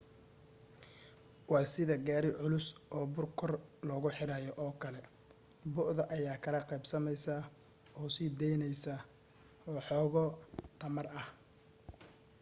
wa sidii gaari culus oo buur kor loogu riixayo oo kale bu'da ayaa kala qaybsamaysa oo sii daynaysa waxooga tamar ah